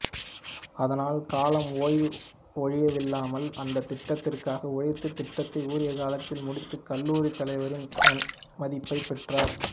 அதனால் கலாம் ஓய்வு ஒழிவில்லாமல் அந்த திட்டத்திற்காக உழைத்து திட்டத்தை உரிய காலத்தில் முடித்து கல்லூரி தலைவரின் நன்மதிப்பை பெற்றார்